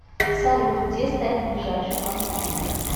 салют где стоит ближайший банкомат